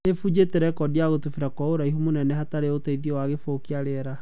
Nĩbũnjire rekodi ya gũtubira gwa ũraihu mũnene hatarĩ ũteithio wa gĩbũyũ kĩa rĩera.